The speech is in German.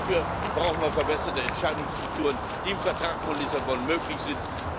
Dafür brauchen wir verbesserte Entscheidungsstrukturen, die im Vertrag von Lissabon möglich sind.